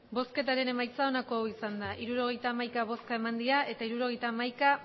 emandako botoak hirurogeita hamaika bai hirurogeita hamaika